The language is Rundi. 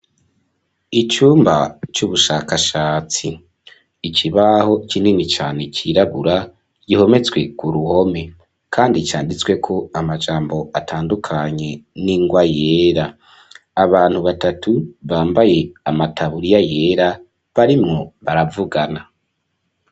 Icumba c'ubushakashatsi, ikibaho kinini cane cirabura gihometswe ku ruhome kandi canditsweko amajambo atandukanye n'ingwa yera, abantu batatu bambaye amataburiya yera barimwo baravugana.